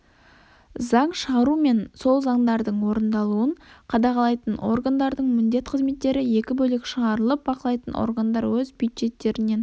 заң шығару мен сол заңдардың орындалуын қадағалайтын органдардың міндет қызметтері екі бөлек шығарылып бақылайтын органдар өз бюджеттерінен